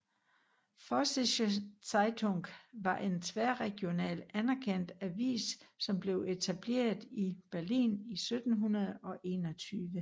Vossische Zeitung var en tværregional anerkendt avis som blev etableret i Berlin i 1721